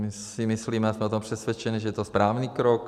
My si myslíme, a jsme o tom přesvědčeni, že to je správný krok.